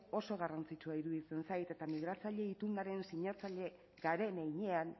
oso garrantzitsua iruditzen zait eta migratzaile itunaren sinatzaile garen heinean